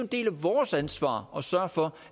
del af vores ansvar at sørge for